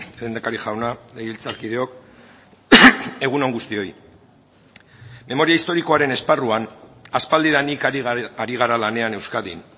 lehendakari jauna legebiltzarkideok egun on guztioi memoria historikoaren esparruan aspaldidanik ari gara lanean euskadin